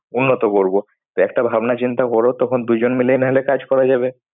উন্নত করবো। তো একটা ভাবনা চিন্তা করো তখন দুজন মিলেই না হলে কাজ করা যাবে।